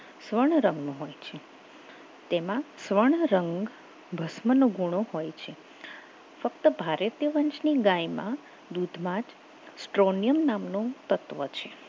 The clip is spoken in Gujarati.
સુવર્ણ રંગનું હોય છે તેમાં સુવર્ણ રંગ ભસ્મનો ગુણો હોય છે ફક્ત ભારતીય વંશની ગાયમાં દૂધમાં stronium નામનો તત્વ છે